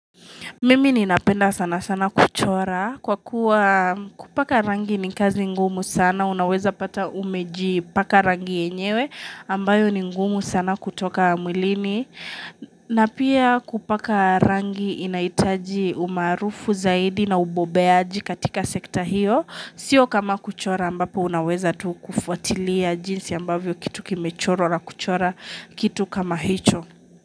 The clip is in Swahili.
Mimi ninapenda sana sana kuchora kwa kuwa kupaka rangi ni kazi ngumu sana. Unaweza pata umejipaka rangi yenyewe ambayo ni ngumu sana kutoka mwilini. Na pia kupaka rangi inahitaji umaarufu zaidi na ubobeaji katika sekta hiyo. Sio kama kuchora ambapo unaweza tu kufuatilia jinsi ambavyo kitu kimechorwa na kuchora kitu kama hicho.